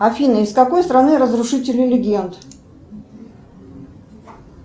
афина из какой страны разрушители легенд